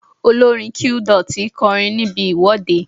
Olórin Qdot kọrin níbi ìwọ́de.